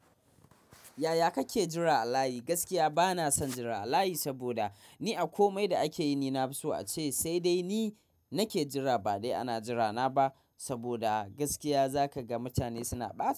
Yaya kake jira a layi? Gaskiya bana son jira a layi, saboda ni a komai da ake yi, ni na fi so ace sai dai ni nake jira ba dai ana jira na ba, saboda, gaskiya za ka ga mutane suna ɓata.